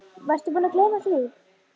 Varstu búinn að gleyma því?